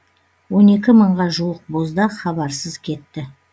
он екі мыңға жуық боздақ хабарсыз кетті